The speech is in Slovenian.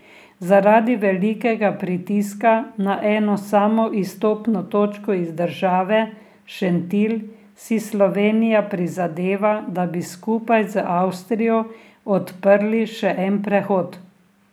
Zaradi velikega pritiska na eno samo izstopno točko iz države, Šentilj, si Slovenija prizadeva, da bi skupaj z Avstrijo odprli še en prehod.